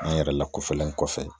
An yɛrɛ lakofɛlen kɔfɛ